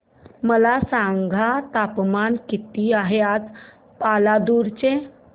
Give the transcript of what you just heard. मला सांगा तापमान किती आहे आज पालांदूर चे